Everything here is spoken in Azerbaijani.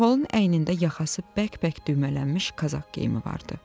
Xaxolun əynində yaxası bəkbək düymələnmiş qazak geyimi vardı.